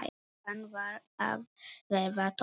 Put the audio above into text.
Klukkan var að verða tólf.